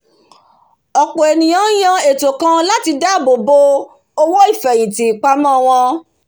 ọ̀pọ̀ ènìyàn ń yàn ètò kan láti dáàbò bo owó ìfèhìntì ìpamò wọn